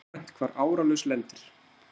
Það er uggvænt hvar áralaus lendir.